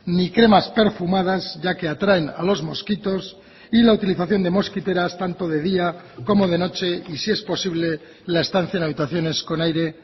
ni cremas perfumadas ya que atraen a los mosquitos y la utilización de mosquiteras tanto de día como de noche y si es posible la estancia en habitaciones con aire